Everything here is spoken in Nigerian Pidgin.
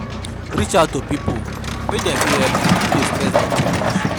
Reach out to pipo make dem fit help you if di stress don too much